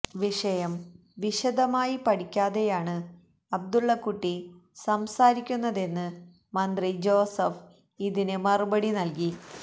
വിഷയം വിശദമായി പഠിക്കാതെയാണ് അബ്ദുള്ളക്കുട്ടി സംസാരിക്കുന്നതെന്ന് മന്ത്രി ജോസഫ് ഇതിന് മറുപടി നല്കി